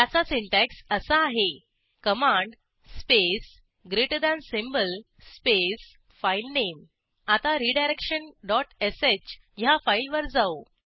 त्याचा सिंटॅक्स असा आहे command space greater than symbol space filename आता रिडायरेक्शन डॉट श ह्या फाईलवर जाऊ